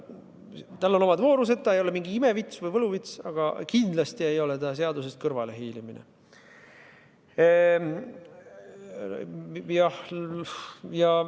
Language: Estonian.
Sel on omad voorused, aga see ei ole mingi ime- või võluvits, kuid kindlasti ei ole see seadusest kõrvalehiilimine.